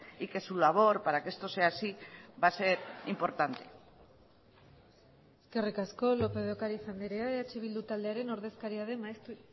y que su labor para que esto sea así va a ser importante eskerrik asko lópez de ocariz andrea eh bildu taldearen ordezkaria den maeztu